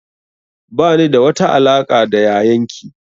Ba ni da wata alaƙa da yayan ki